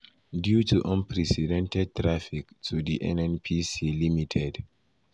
“due to unprecedented traffic to di nnpc ltd.